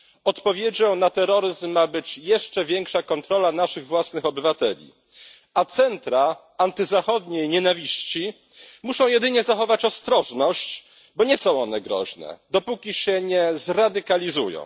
Odpowiedzią na terroryzm ma być jeszcze większa kontrola naszych własnych obywateli, a ośrodki antyzachodniej nienawiści muszą jedynie zachować ostrożność, bo nie są one groźne dopóki się nie zradykalizują.